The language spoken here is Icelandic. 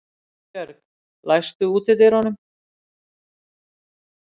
Björg, læstu útidyrunum.